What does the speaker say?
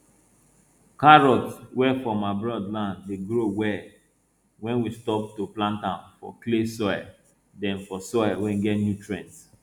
carrot wey from abroad land dey grow well when we stop to plant am for clay soil then for soil wey get nutrients